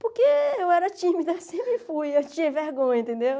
Porque eu era tímida, eu sempre fui, eu tinha vergonha, entendeu?